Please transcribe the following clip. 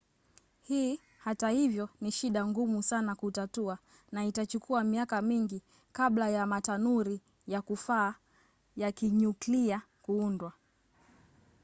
hii hata hivyo ni shida ngumu sana kutatua na itachukua miaka mingi kabla ya matanuri ya kufaa ya kinyuklia kuundwa